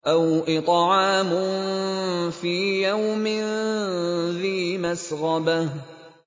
أَوْ إِطْعَامٌ فِي يَوْمٍ ذِي مَسْغَبَةٍ